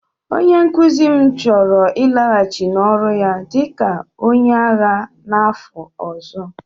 Onye nkuzi m chọrọ ịlaghachi n'ọrụ ya dị ka onye agha n'afọ ọzọ